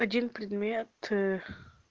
один предмет